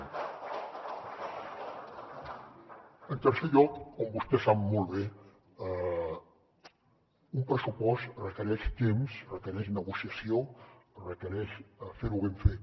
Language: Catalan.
en tercer lloc com vostè sap molt bé un pressupost requereix temps requereix negociació requereix fer ho ben fet